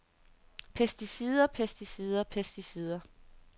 pesticider pesticider pesticider